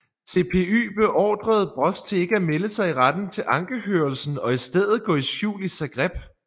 CPY beordrede Broz til ikke at melde sig i retten til ankehørelsen og i stedet gå i skjul i Zagreb